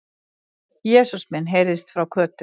Jesús minn! heyrðist frá Kötu.